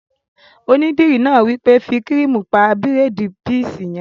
Onídìrí náà wí pé "fí kírìmù pa bírèèdì píísì yẹn!"